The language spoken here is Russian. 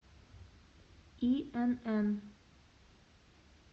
инн